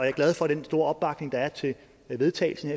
er glad for den store opbakning der er til vedtagelsen